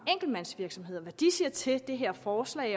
enkeltmandsvirksomheder hvad de siger til det her forslag